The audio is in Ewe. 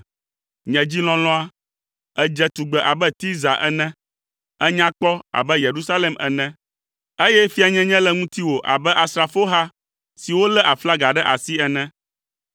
Nye dzi lɔlɔ̃a, èdze tugbe abe Tirza ene, ènya kpɔ abe Yerusalem ene, eye fianyenye le ŋutiwò abe asrafoha siwo lé aflaga ɖe asi ene.